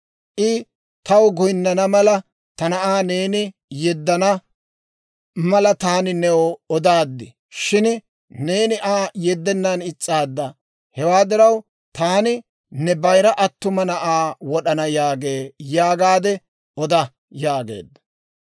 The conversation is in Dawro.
I taw goynnana mala, ta na'aa neeni yeddana mala, taani new odaaddi; shin neeni Aa yeddenaan is's'aadda; hewaa diraw, taani ne bayira attuma na'aa wod'ana» yaagee› yaagaade oda» yaageedda.